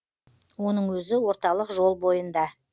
оның өзі орталық жол бойында